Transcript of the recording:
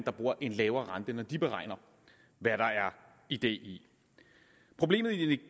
en lavere rente når de beregner hvad der er idé i problemet